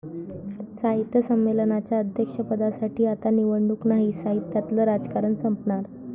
साहित्य संमेलनाच्या अध्यक्षपदासाठी आता निवडणूक नाही! साहित्यातलं राजकारण संपणार?